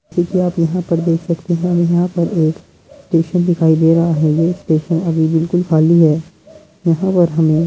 Q कि आप यहां पर देख सकते हैं। यहां पर एक स्टेशन दिखाई दे रहा है। ये स्टेशन अभी बिल्कुल खाली है। यहां पर हमे --